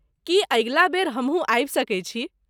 की अगिला बेर हमहुँ आबि सकैत छी?